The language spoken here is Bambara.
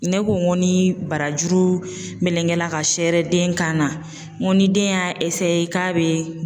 Ne ko n ko ni barajuru melengela ka se den kan na ,n ko ni den y'a k'a bɛ